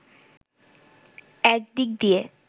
এক দিক দিয়ে